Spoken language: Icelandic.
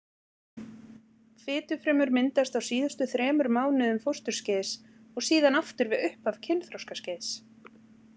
Fitufrumur myndast á síðustu þremur mánuðum fósturskeiðs og síðan aftur við upphaf kynþroskaskeiðs.